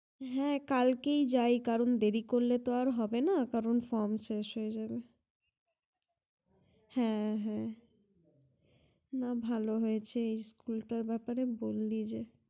হ্যাঁ! কালকেই যাই কারন দেড়ি করলে তো আর হবে না, কারণ Form শেষ হয়ে যাবে । হ্যাঁ! হ্যাঁ! না ভালো হয়েছে এই School টার ব্যাপারে বললি যে ।